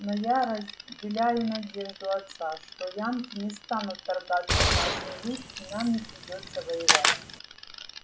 но я разделяю надежду отца что янки не станут вторгаться в нашу жизнь и нам не придётся воевать